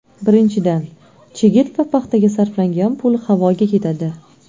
Birinchidan, chigit va paxtaga sarflangan pul havoga ketadi.